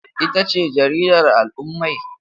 Ita ce jaridar al'ummai?